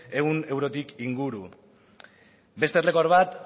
ehun eurotik inguru beste errekor bat